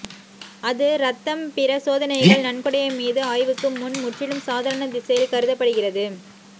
அது ரத்தம் பிற சோதனைகள் நன்கொடை மீது ஆய்வுக்கு முன் முற்றிலும் சாதாரண திசையில் கருதப்படுகிறது